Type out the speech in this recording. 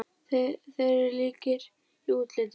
Þeir eru líkir í útliti.